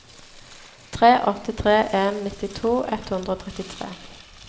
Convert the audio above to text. tre åtte tre en nittito ett hundre og trettitre